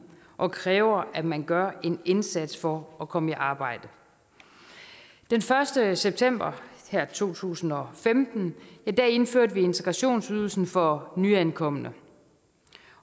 og kræver at man gør en indsats for at komme i arbejde den første september to tusind og femten indførte vi integrationsydelsen for nyankomne